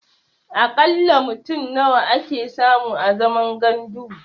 A ƙalla mutum nawa ake samu a zaman gandu?